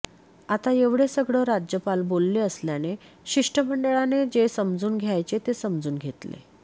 आता एवढे सगळं राज्यपाल बोलले असल्याने शिष्टमंडळाने जे समजून घ्यायचे ते समजून घेतले